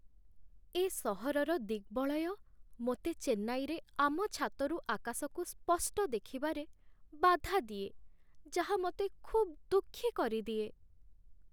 ଏ ସହରର ଦିଗ୍‌ବଳୟ ମୋତେ ଚେନ୍ନାଇରେ ଆମ ଛାତରୁ ଆକାଶକୁ ସ୍ପଷ୍ଟ ଭାବରେ ଦେଖିବାରେ ବାଧା ଦିଏ, ଯାହା ମୋତେ ଖୁବ୍ ଦୁଃଖୀ କରିଦିଏ